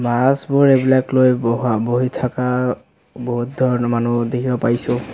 মাছবোৰ এইবিলাক লৈ বহা বহি থকা বহুত ধৰণৰ মানুহো দেখিব পাইছোঁ।